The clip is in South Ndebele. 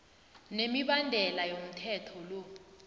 nemibandela yomthetho lo